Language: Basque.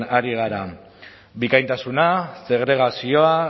ari gara bikaintasuna segregazioa